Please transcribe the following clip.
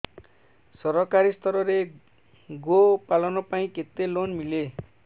ସରକାରୀ ସ୍ତରରେ ଗୋ ପାଳନ ପାଇଁ କେତେ ଲୋନ୍ ମିଳେ